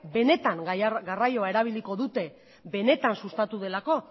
benetan garraioa erabiliko dute benetan sustatu delako